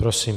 Prosím.